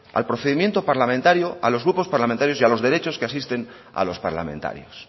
al procedimiento parlamentario a los grupos parlamentarios y a los derechos que asisten a los parlamentarios